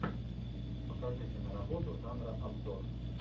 покажи киноработу жанра обзор